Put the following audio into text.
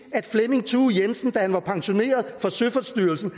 flemming thue jensen da han var pensioneret fra søfartsstyrelsen